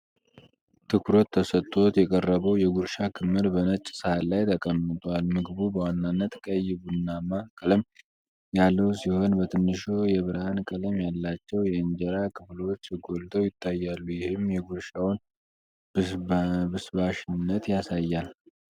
ትኩረት ተሰጥቶት የቀረበው የጉርሻ ክምር በነጭ ሳህን ላይ ተቀምጧል። ምግቡ በዋናነት ቀይ-ቡናማ ቀለም ያለው ሲሆን በትንሹ የብርሃን ቀለም ያላቸው የእንጀራ ክፍሎች ጎልተው ይታያሉ፣ ይህም የጉርሻውን ብስባሽነት ያሳያል።